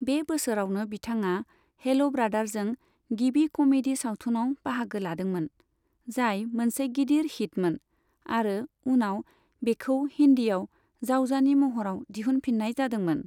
बे बोसोरावनो बिथाङा हेल ब्रादारजों गिबि कमेदि सावथुनाव बाहागो लादोंमोन, जाय मोनसे गिदिर हिटमोन, आरो उनाव बेखौ हिन्दीआव जावजानि महराव दिहुनफिन्नाय जादोंमोन।